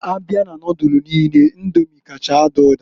Abịa na nodulu niine Indomi kacha ada ụda.